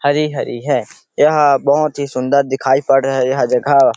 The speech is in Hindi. हरी-हरी है यह बहोत ही सुंदर दिखाई पड़ रही है यह जगह--